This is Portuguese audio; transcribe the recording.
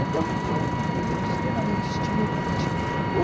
Então, foi um período extremamente estimulante.